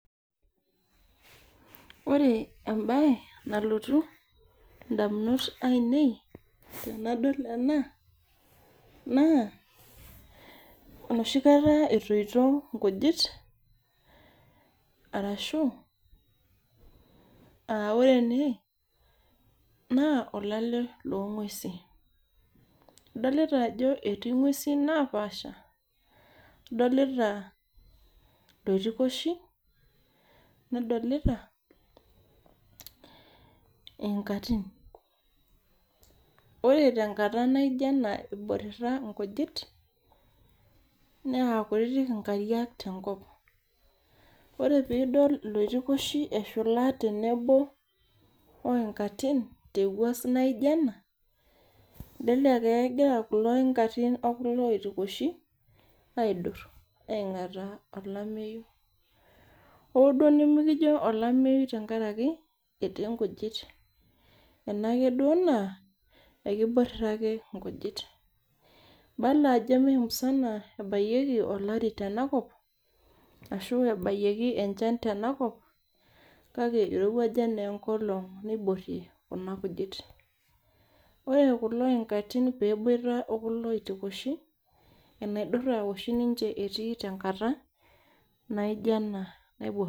Ore embae nalotu ndamunot ainei tanadol ena na enoshi kata etoito nkujit arashu aa ore ene na olale longwesi adolita ajo etii ngwesu napaasha adolita loitikoshi nadolita iinkati ore tenkara naijonena iborira nkujit na kutitik nkariak tenkop ore tenidol loitikoshi eshula tenebo oinkati tewuei nabo okulo oitiloshi aidur aingataa olameyu oo duo nimikijo olameyu tenkaraki etii nkujit enake duo nakiborira nkujit Idolta ajo memusana ebayieki olaru tenakop ashu ebayieki enchan kake irowuaja enkolong niborie kuna kujit ore kulo ingati peboito ekulo oitosho na enaidura oshi etii tekuna katan